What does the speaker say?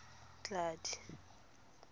tladi